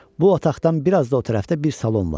Bu otaqdan biraz da o tərəfdə bir salon var.